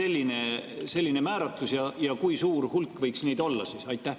Miks selline määratlus ja kui suur hulk võiks neid olla?